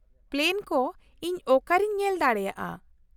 -Plan ᱠᱚ ᱤᱧ ᱚᱠᱟᱨᱮᱧ ᱧᱮᱞ ᱫᱟᱲᱮᱭᱟᱜᱼᱟ ?